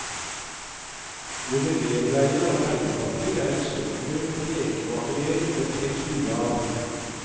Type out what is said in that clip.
Modellerleier og tegnepapir er eksempler på lekemateriell det trengs mye av.